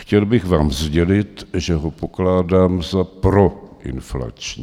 Chtěl bych vám sdělit, že ho pokládám za proinflační.